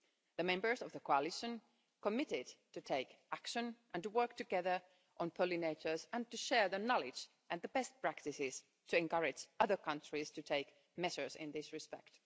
The members of the Coalition committed to take action and to work together on pollinators and to share their knowledge and the best practices to encourage other countries to take measures in this respect.